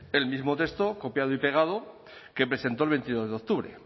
el mismo texto copiado y pegado que presentó el veintidós de octubre